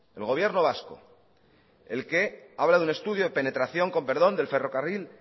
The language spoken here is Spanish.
el gobierno vasco el que habla de un estudio de penetración con perdón del ferrocarril